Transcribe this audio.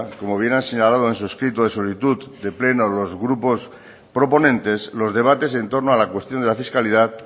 como bien ha señalado en su escrito de solicitud de pleno los grupos proponentes los debates en torno a la cuestión de la fiscalidad